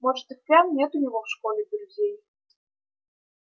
может и впрямь нет у него в школе друзей